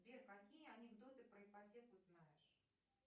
сбер какие анекдоты про ипотеку знаешь